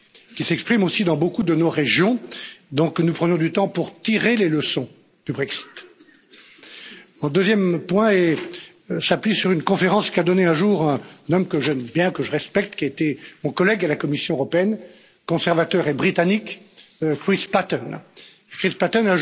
qui s'exprime aussi dans beaucoup de nos régions que nous prenions du temps pour tirer les leçons du Brexit. Le deuxième point s'appuie sur une conférence qu'a donnée un jour un homme que j'aime bien, que je respecte, qui était mon collègue à la Commission européenne, conservateur et britannique, Chris Patten.